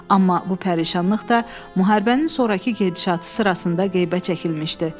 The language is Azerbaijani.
Amma bu pərişanlıq da müharibənin sonrakı gedişatı sırasında qeybə çəkilmişdi.